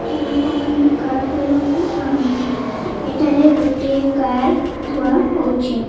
ଲୋକମାନେ କାର ଧୋଇବାକୁ ଆଣନ୍ତି ଏଠାରେ ଗୋଟିଏ କାର ଧୂଆହୋଉଛି।